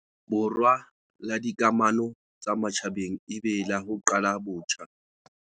Borwa la dika mano tsa matjhabeng e be la ho "qala botjha".